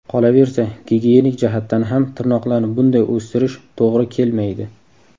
Qolaversa, gigiyenik jihatdan ham tirnoqlarni bunday o‘stirish to‘g‘ri kelmaydi.